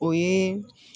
O ye